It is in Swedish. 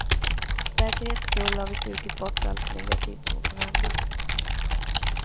För säkerhets skull har vi strukit bort allt negativt som kan hända.